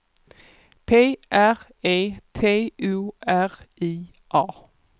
P R E T O R I A